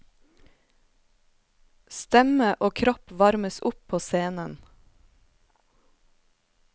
Stemme og kropp varmes opp på scenen.